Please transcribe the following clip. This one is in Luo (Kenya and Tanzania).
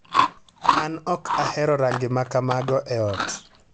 An ok ahero rangi ma kamago e ot.